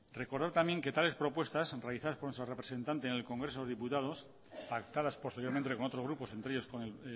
recordar también que tales propuestas realizadas por nuestra representante en el congreso de los diputados pactadas posteriormente con otros grupos entre ellos con el